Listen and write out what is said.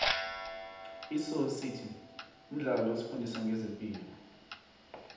isoly city mdlalo osifundisa nqezepilo